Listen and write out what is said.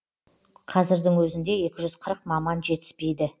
қазірдің өзінде екі жүз қырық маман жетіспейді